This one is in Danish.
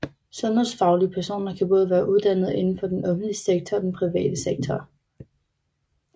Sundhedsfaglige personer kan både være uddannede indenfor den offentlige sektor og den private sektor